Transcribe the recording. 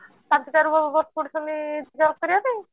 ପାଞ୍ଚଟା ରୁ ବସି ପଡ଼ୁଛନ୍ତି job କରିବା ପାଇଁ